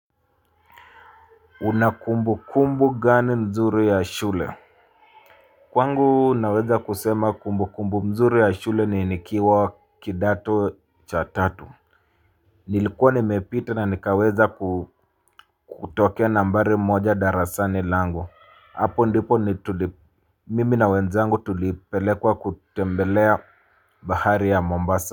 Una kumbukumbu gani nzuri ya shule. Kwangu naweza kusema kumbukumbu mzuri ya shule ni nikiwa kidato cha tatu. Nilikuwa nimepita na nikaweza kutokea nambari moja darasani langu. Hapo ndipo mimi na wenzangu tulipelekwa kutembelea bahari ya Mombasa.